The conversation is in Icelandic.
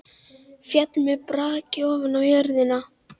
Féll með braki ofan á jörðina.